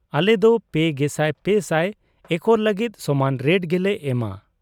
ᱟᱞᱮᱫᱚ ᱓᱓᱐᱐ ᱮᱠᱚᱨ ᱞᱟᱹᱜᱤᱫ ᱥᱚᱢᱟᱱ ᱨᱮᱴ ᱜᱮᱞᱮ ᱮᱢᱟ ᱾